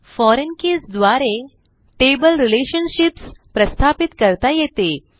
foreign keysद्वारे table relationships प्रस्थापित करता येते